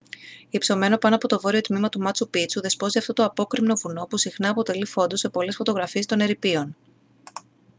υψωμένο πάνω από το βόρειο τμήμα του μάτσου πίτσου δεσπόζει αυτό το απόκρημνο βουνό που συχνά αποτελεί φόντο σε πολλές φωτογραφίες των ερειπίων